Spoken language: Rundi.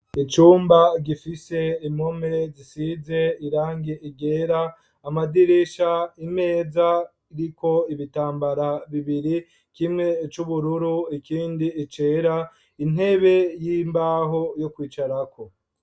Icumba gifise impome zisize irangi ryera amadirisha imeza iriko ibitambara bibiri kimwe cubururu ikindi cera intebe y'imbaho yo kwicarako.